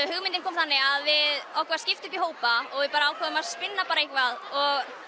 hugmyndin kom þannig að okkur var skipt upp í hópa og við ákváðum að spinna bara eitthvað og